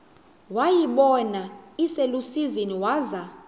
wayibona iselusizini waza